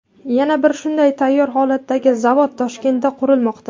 Yana bir shunday tayyor holatdagi zavod Toshkentda qurilmoqda.